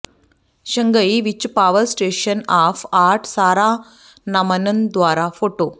Shanghai ਵਿੱਚ Power Station of Art Sarah Naumann ਦੁਆਰਾ photo